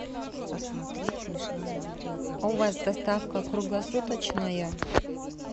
у вас доставка круглосуточная